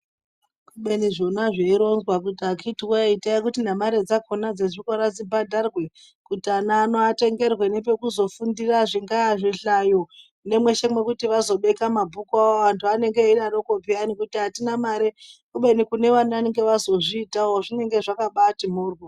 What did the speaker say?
Kubeni zvona zveironzwa kuti akhiti wee itai kuti nemare dzakhona dzezvikora dzibhadharwe kuti ana ano atengerwe nepekuzofundira zvingaa zvihlayo nemweshe mwekuti azobeka mabhuku awo zveanonge eidatoko piyani kuti atina mare kubeni kune vanenge vazozviitawo zvinenge zvakabaati mhoryo.